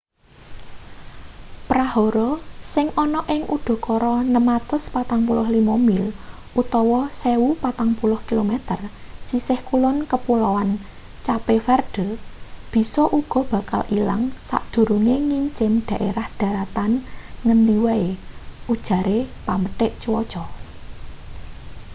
prahara sing ana ing udakara 645 mil 1040 km sisih kulon kepuloan cape verde bisa uga bakal ilang sadurunge ngincim dhaerah dharatan ngendi wae ujare pamethek cuaca